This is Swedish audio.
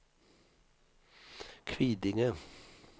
Kvidinge